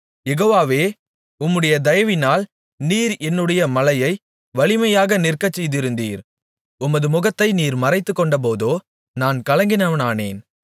யெகோவாவே உம்முடைய தயவினால் நீர் என்னுடைய மலையை வலிமையாக நிற்கச்செய்திருந்தீர் உமது முகத்தை நீர் மறைத்துக்கொண்டபோதோ நான் கலங்கினவனானேன்